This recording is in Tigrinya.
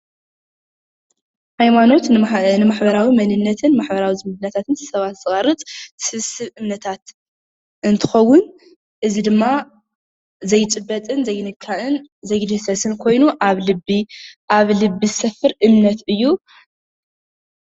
ሃይማኖት ንመሕበራዊ መንነትን ማሕበራዊ ዝምድናታትን ስብስብ እምነታት እንትከውን እዚ ድማ ዘይጭበጥን ዘይንካእን ዘይድህሰስን ኮይኑ ኣብ ልቢ ዝሰፍር እምነት እዩ፡፡